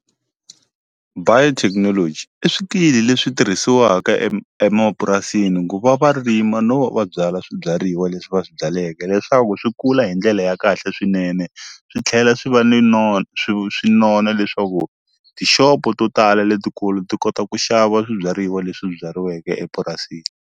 Biotechnology i swikili leswi tirhisiwaka emapurasini ku va va rima no va va byala swibyariwa leswi va swi byaleke leswaku swi kula hi ndlele ya kahle swinene swi tlhela swi va ni swi nona leswaku tixopo to tala letikulu ti kota ku xava swibyariwa leswi byariweke epurasini.